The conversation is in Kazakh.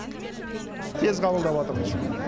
тез қабылдап жатырмыз